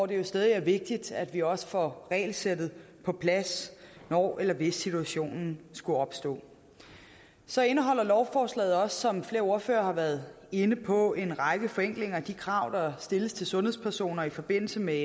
det er stadig vigtigt at vi også får regelsættet på plads når eller hvis situationen skulle opstå så indeholder lovforslaget også som flere ordførere har været inde på en række forenklinger af de krav der stilles til sundhedspersoner i forbindelse med